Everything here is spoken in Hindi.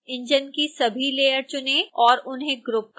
इंजन की सभी लेयर चुनें और उन्हें ग्रुप करें